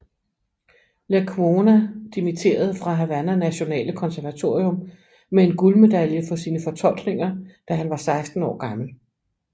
Lecuona dimitterede fra Havana Nationale Konservatorium med en guldmedalje for sine fortolkninger da han var seksten år gammel